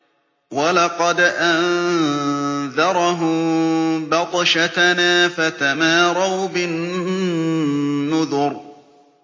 وَلَقَدْ أَنذَرَهُم بَطْشَتَنَا فَتَمَارَوْا بِالنُّذُرِ